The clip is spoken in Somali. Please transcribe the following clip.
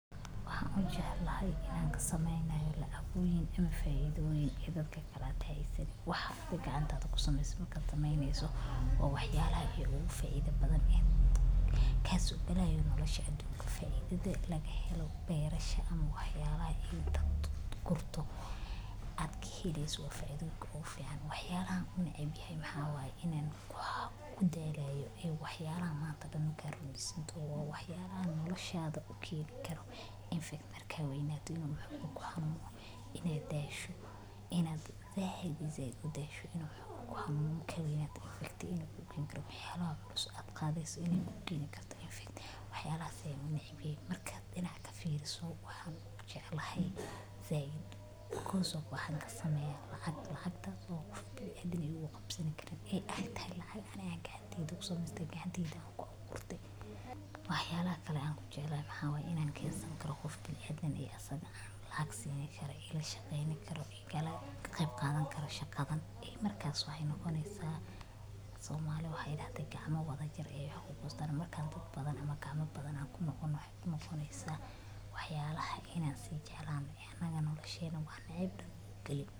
Waxaan u jecelahay inaan ka samaynayo lacagbooyin ama faa'iido wayn ee dadka kala taalisay. Waxaad gacantaada ku samaystaa marka samaynayso. Waa waxyaalaha iyo ugu faa'iido badan in. Kaasoo balla'yo nolosha adduunka. Faa'iidado laga helo beerasha ama waxyaalaha ayeey dad ku qurto. Aad ka hedaysato waficood oo fiican. Waxyaalahaan nicib yahay maxaabay inaan ku gudhaaleyo ee waxyaalo maanta daan rumbisintood. Waa waxyaabahan noloshaada u kiil karo infektarkeena waynato inuu u mahog inay daasho inaad zaaid iyo zaid u daasho inay u xaqiijiso inuu ugu xaqiijisano inaad infektay. Inaad buuqdiin kartaa infekt. Waxyaalaha sameycanicibka markaad inaan ka fiiriso. Waxaan u jeclaa Zayn ku hoos oogu waxaan ka samaynaa lacagta. Lacagta oo qof bil ah adag ayuu u qabsan karin ay agtey. Laacan aanagga gacantida kusamaystaa gacantida ku qurto. Waxyaalaha kale aan ku jeclaa maxaabay in aan keensan karo qof bil adag ee aad asagana laaga siineyn kara. Ila shaqeyneen karo. Iga gabyo qaadan kara shaqadan. Markaas oo ah inuu konaysaa Soomaaliya. Waxay idaata gacmo wada jir ee ay ugu boostaan markaan dad badan ama kaama badan aan ku noqon. Waxay ku noqonaysaa waxyaalaha inaan sii jeclaan in aanaga nolosheena. Waa nicib galin.